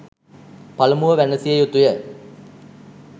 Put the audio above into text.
පළමුව වැනසිය යුතුය.